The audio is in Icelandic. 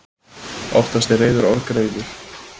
Oftast er reiður orgreiður.